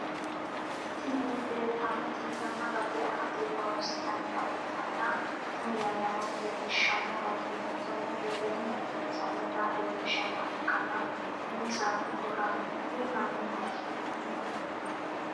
Tini lelitanotti yanna badde afatte hirronisinanita ikitana tini yannanno lelishshno garrinni tonte lemhu sainotta lelishshnoha ikana tene sateno worranihu imma mineho sunitanitte.